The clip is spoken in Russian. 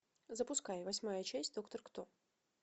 запускай восьмая часть доктор кто